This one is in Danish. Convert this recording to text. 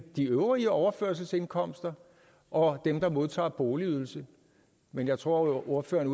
de øvrige overførselsindkomster og dem der modtager boligydelse men jeg tror at ordføreren